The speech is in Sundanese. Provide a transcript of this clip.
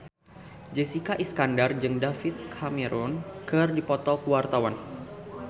Jessica Iskandar jeung David Cameron keur dipoto ku wartawan